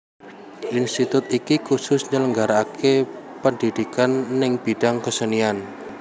Institut iki kusus nyelenggaraake pendhidhikan neng bidang kesenian